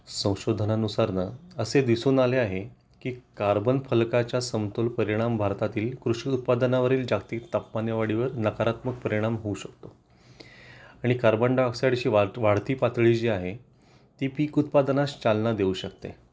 संशोधनानुसार नाअसे दिसून आले आहे की कार्बन फलकाच्या समतोल परिणाम भारतातील कृषी उत्पादनावरील जागतिक तापमानवाढी वर नकारात्मक परिणाम होऊ शकतो आणि कार्बन डाय ऑक्साईडची वाढती पातळी जी आहे ती पीक उत्पादनास चालना देऊ शकते